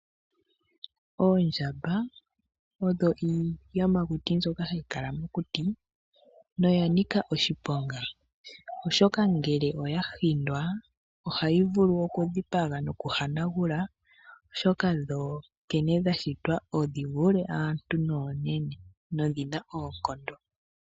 Oondjamba odho iiyamakuti mbyoka hayi kala mokuti, noya nika oshiponga, oshoka ngele oya hindwa, ohayi vulu oku dhipaga noku hanagula. Oshoka dho nkene dha shitwa odhi vule aantu noonene, nodhi na oonkondo.